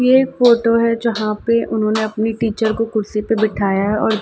ये फोटो हैं जहाँ पे उन्होंने अपनी टीचर को कुर्सी पे बिठाया हैं और--